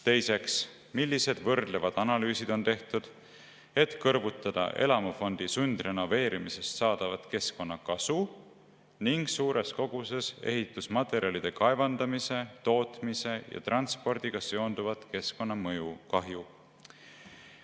Teiseks, millised võrdlevad analüüsid on tehtud, et kõrvutada elamufondi sundrenoveerimisest saadavat keskkonnakasu ning suures koguses ehitusmaterjalide kaevandamise, tootmise ja transpordiga seonduvat keskkonnakahju?